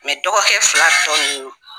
dɔgɔkɛ fila tɔ nun